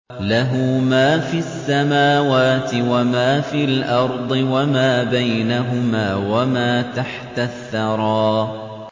لَهُ مَا فِي السَّمَاوَاتِ وَمَا فِي الْأَرْضِ وَمَا بَيْنَهُمَا وَمَا تَحْتَ الثَّرَىٰ